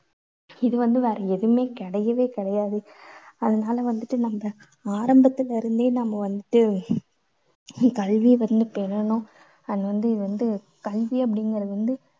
இது வந்து வேற எதுவுமே கிடையவே கிடையாது. அதனால வந்துட்டு நம்ம ஆரம்பத்துலேர்ந்தே நம்ம வந்துட்டு கல்வியை வந்து பெறணும். அது வந்து இது வந்து கல்வி அப்படிங்கறது வந்து